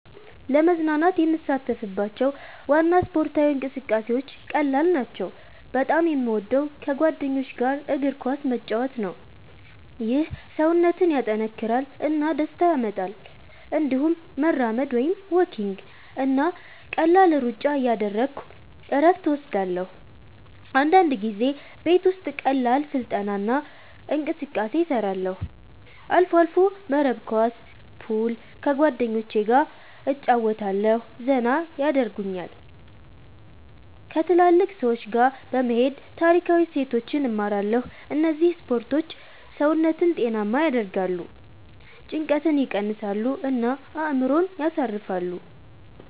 ለመዝናናት የምሳተፍባቸው ዋና ስፖርታዊ እንቅስቃሴዎች ቀላል ናቸው። በጣም የምወደው ከጓደኞች ጋር እግር ኳስ መጫወት ነው። ይህ ሰውነትን ያጠናክራል እና ደስታ ያመጣል። እንዲሁም መራመድ (walking) እና ቀላል ሩጫ እያደረግሁ እረፍት እወስዳለሁ። አንዳንድ ጊዜ ቤት ውስጥ ቀላል ስልጠና እና እንቅስቃሴ እሰራለሁ። አልፎ አልፎ መረብ ኳስ፣ ፑል ከጓደኞቸ ገ እጨረወታለሁ ዘና የደርጉኛል። ከትልልቅ ሰዎች ጋ በመሄድ ታሪካዊ እሴቶችን እማራለሁ እነዚህ ስፖርቶች ሰውነትን ጤናማ ያደርጋሉ፣ ጭንቀትን ይቀንሳሉ እና አእምሮን ያሳርፋሉ።